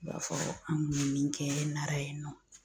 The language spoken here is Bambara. I b'a fɔ an kun bɛ min kɛ Nara yen nɔ